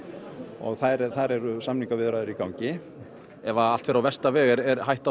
og þar eru samningaviðræður í gangi ef allt fer á versta veg er hætt